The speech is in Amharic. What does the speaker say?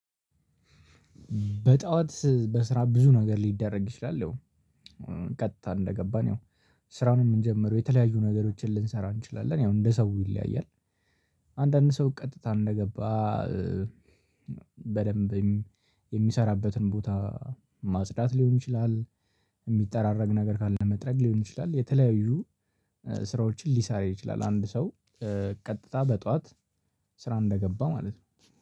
በጠዋት በስራ ብዙ ነገር ሊደረግ ይችላል። ያው ቀጥታ እንደገባን ያው ስራ ነው ምንጀምረው የተለያዩ ነገሮችን ልንሰራ እንችላለን ያው እንደ ሰው ይለያያል። አንዳንድ ሰው ቀጥታ እንደገባ። በደንብ የሚሰራበትን ቦታ ማጽዳት ሊሆን ይችላል። ሚጠራረግ ነገር ካለ መጥረግ ሊሆን ይችላል የተለያዩ ስራዎችን ሊሰራ ይችላል። አንድ ሰው ቀጥታ በጠዋት ስራ እንደገባ ማለት ነው